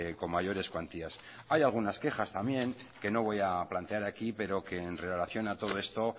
con mayores cuantías hay algunas quejas también que no voy a plantear aquí pero que en relación a todo esto